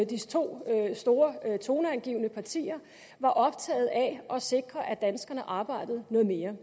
de to store toneangivende partier var optaget af at sikre at danskerne arbejdede noget mere